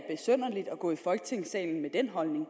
gå i folketingssalen med den holdning